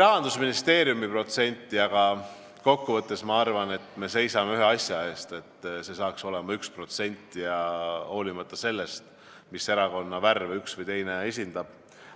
Rahandusministeeriumi protsente, aga kokkuvõttes ma arvan, et me seisame ühe asja eest: selle eest, et see saaks olema 1%, hoolimata sellest, mis erakonna värve üks või teine esindab.